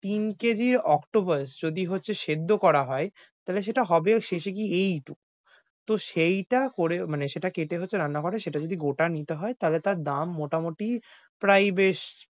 তিন কেজি octopus যদি হচ্ছে সেদ্ধ করা হয়, তাইলে সেটা হবেও শেষে গিয়ে এইটুক। তো সেইটা করে মানে সেটা কেটে হচ্ছে রান্না করে, সেটা যদি গোটা নিতে হয় তাইলে তার দাম মোটামুটি প্রায় বেশ,